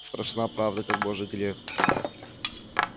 страшна правда как божий грех